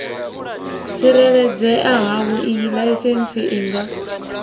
tsireledzea havhoiyi laisentsi i nga